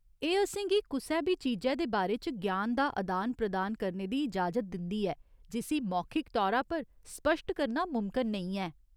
एह् असेंगी कुसै बी चीजै दे बारे च ग्यान दा अदान प्रदान करने दी इजाजत दिंदी ऐ जिसी मौखिक तौरा पर स्पश्ट करना मुमकन नेईं ऐ।